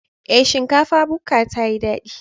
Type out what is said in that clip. Ee, shinkafa bukka tayi dadi.